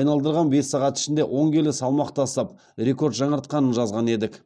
айналдырған бес сағат ішінде он келі салмақ тастап рекорд жаңартқанын жазған едік